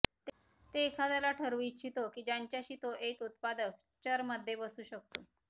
ते एखाद्याला ठरवू इच्छितो की ज्यांच्याशी तो एक उत्पादक चरमध्ये बसू शकतो